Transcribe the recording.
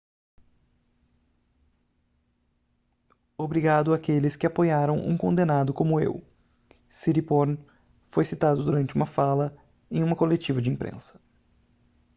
obrigado àqueles que apoiaram um condenado como eu siriporn foi citado durante uma fala em uma coletiva de imprensa